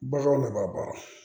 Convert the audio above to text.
Baganw laban